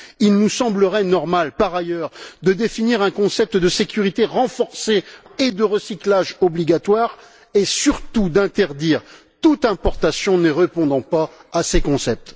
Il nous semblerait normal, par ailleurs, de définir un concept européen de sécurité renforcé et de recyclage obligatoire et, surtout, d'interdire toute importation ne répondant pas à ce concept.